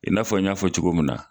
I n'a fɔ n ɲ'a fɔ cogo min na